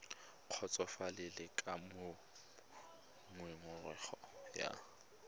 kgotsofalele ka moo ngongorego ya